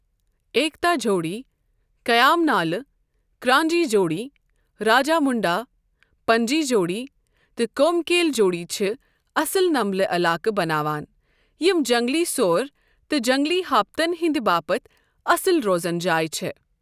ایکتا جھوڑی، کیام نالہ، کرانجی جوڈی، راجامُنڈہ، پنجی جوڑی، تہٕ کومکیل جوڑی چھِ اصل نمبلہِ علاقہٕ بناوان یِم جنگلی سوٗر تہٕ جنگلی ہاپتن ہٕنٛدِ باپتھ اصل روزن جایِہ چھےٚ۔